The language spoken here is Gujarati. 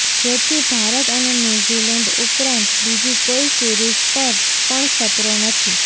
જેથી ભારત અને ન્યૂઝીલેન્ડ ઉપરાંત બીજી કોઈ સિરીઝ પર પણ ખતરો નથી